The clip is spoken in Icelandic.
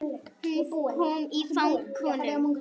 Hún kom í fang honum.